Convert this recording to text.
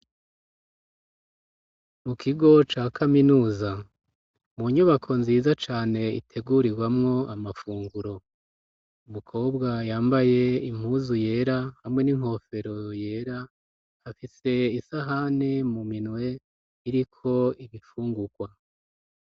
Mu kigo ca kaminuza. Mu nyubako nziza cane iteguriwamwo amafunguro. umukobwa yambaye impuzu yera hamwe n'inkofero yera, afise isahani mu minwe iriko ibifungukwa.